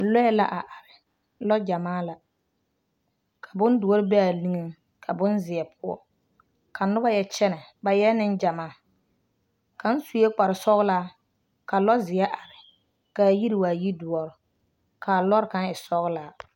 Lɔɛ la a are lɔ-gyɛmaa la, bondoɔ bee a niŋeŋ ka bonzeɛ poɔ ka noba yɛ kyɛnɛ ba eɛ neŋgyɛmaa kaŋ sue kpare sɔgelaa ka lɔ-zeɛ are k'a yiri waa yi-doɔre ka lɔre kaŋ e sɔgelaa.